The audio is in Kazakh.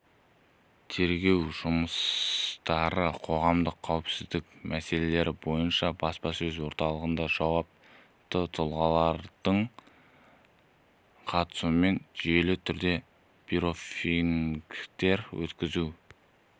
тергеу жұмыстары қоғамдық қауіпсіздік мәселелері бойынша баспасөз орталығында жауапты тұлғалардың қатысуымен жүйелі түрде брифингтер өткізу